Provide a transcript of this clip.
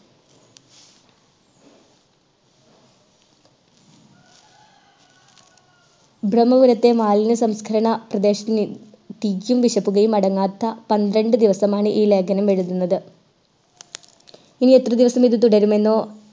ബ്രഹ്മപുരത്തെ മാലിന്യ സംസ്കരണ പ്രദേശത്തിലെ തീയും വിഷപുകയും അടങ്ങാത്ത പന്ത്രണ്ടു ദിവസമാണ് ഈ ലേഖനം എഴുതുന്നത് ഇനി എത്ര ദിവസം ഇത് തുടരുമെന്നോ